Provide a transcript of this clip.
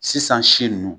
Sisan si nunnu